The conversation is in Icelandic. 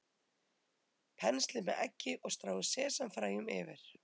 Penslið með eggi og stráið sesamfræjum yfir.